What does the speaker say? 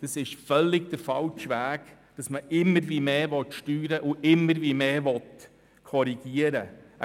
Es ist der völlig falsche Weg, wenn man immer mehr steuern und immer mehr korrigieren will.